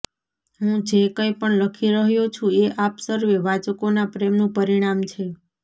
હું જે કંઈપણ લખી રહ્યો છું એ આપ સર્વે વાંચકોનાં પ્રેમનું પરિણામ છે